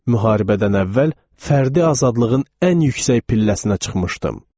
Müharibədən əvvəl fərdi azadlığın ən yüksək pilləsinə çıxmışdım.